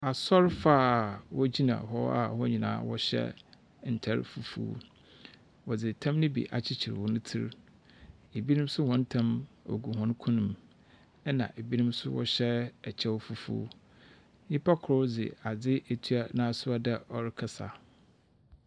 Asɔrefoɔ a wɔgyina hɔ a wɔn nyinaa wɔhyɛ ntar fufuo. Wɔdze tam no bi akyekyer hɔn tsir. Ebinom nso hɔn tam ɔgu hɔn kɔn mu, ɛnna ebinom nso wɔhyɛ kyɛw fufuo. Nnipa kor dze adze etua n'aso a ɔyɛ dɛ ɔrekasa.